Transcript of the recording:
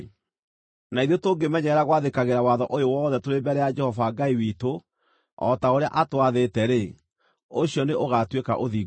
Na ithuĩ tũngĩmenyerera gwathĩkĩra watho ũyũ wothe tũrĩ mbere ya Jehova Ngai witũ, o ta ũrĩa atwathĩte-rĩ, ũcio nĩ ũgaatuĩka ũthingu witũ.”